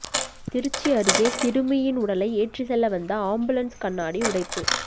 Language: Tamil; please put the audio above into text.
திருச்சி அருகே சிறுமியின் உடலை ஏற்றிச்செல்ல வந்த ஆம்புலன்ஸ் கண்ணாடி உடைப்பு